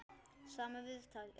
Sama viðtal.